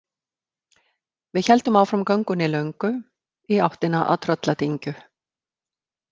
Við héldum áfram göngunni löngu í áttina að Trölladyngju.